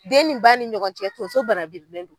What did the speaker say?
Den ni ba ni ɲɔgɔncɛ tonso banabilen do.